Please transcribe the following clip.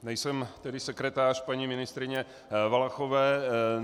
Nejsem tedy sekretář paní ministryně Valachové.